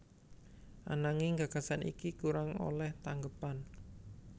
Ananging gagasan iki kurang olèh tanggepan